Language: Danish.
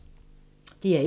DR1